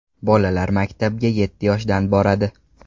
Bolalar maktabga yetti yoshdan boradi.